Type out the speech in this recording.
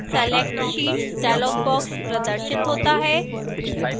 select sheets dialog box प्रदर्शित होता है